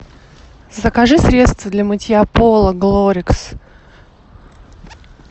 закажи средство для мытья пола глорикс